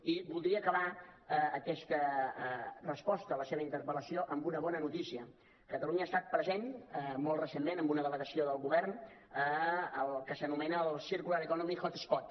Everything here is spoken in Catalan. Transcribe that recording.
i voldria acabar aquesta resposta a la seva interpel·lació amb una bona notícia catalunya ha estat present molt recentment amb una delegació del govern al que s’anomena circular economy hotspot